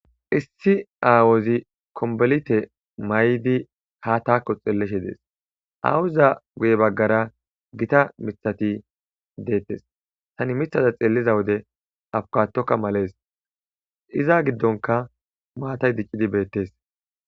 issi aawozi kombolite may7di ha taakko xeellishe dees aawuza guye baggara gita miiththati deettes tani miiththata xeelliza wode afuukatokka malees iza giddonkka maatay diccidii beettes